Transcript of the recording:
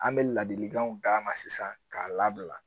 An bɛ ladilikanw d'a ma sisan k'a labila